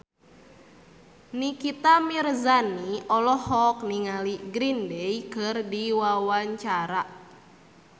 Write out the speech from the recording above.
Nikita Mirzani olohok ningali Green Day keur diwawancara